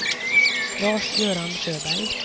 Lars-Göran Sjöberg